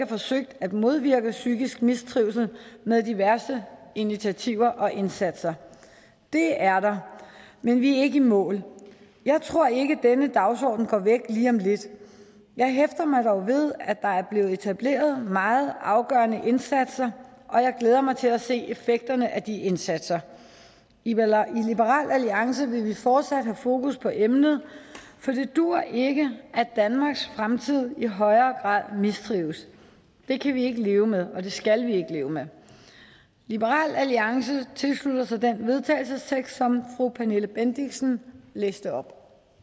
forsøgt at modvirke psykisk mistrivsel med diverse initiativer og indsatser det er der men vi er ikke i mål og jeg tror ikke at denne dagsorden går væk lige om lidt jeg hæfter mig dog ved at der er blevet etableret nogle meget afgørende indsatser og jeg glæder mig til at se effekterne af de indsatser i liberal alliance vil vi fortsat have fokus på emnet for det duer ikke at danmarks fremtid i højere grad mistrives det kan vi ikke leve med og det skal vi ikke leve med liberal alliance tilslutter sig den vedtagelsestekst som fru pernille bendixen læste op